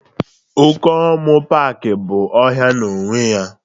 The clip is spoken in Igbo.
Okomu paaki bụ ọhịa n'onwe ya